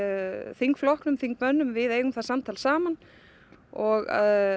þingflokknum oog þingmönnum við eigum það samtal saman og